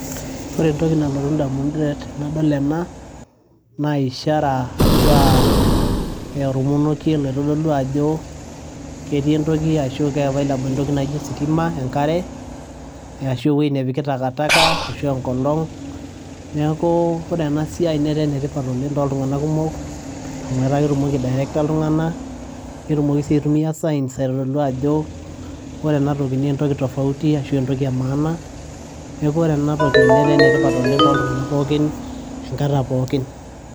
Ore entoki nalotu indamunot tenadol ena, naa ishara arashuu aa olmonekie otodolu ajo ketii entoki arashu kaa available ositima, enkare arashu ewoji nepiki takataka arashu enkolong neeku ore ena siai netaa enetipat too tunganak kumok amu etaa ketumoki aiderikita iltunganak netumoki sii aitumiya signs aitodolu aajo ore ena naa entoki tofauti ashu entoki emaana. Neeku ore ena toki netaa enetipat oleng' too tunganak pookin.